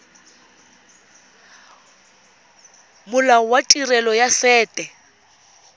molao wa tirelo ya set